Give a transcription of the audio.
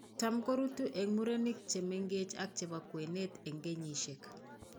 Tam koruutu eng' murenik chemengeech ak chebo kwenet eng' kenyisiek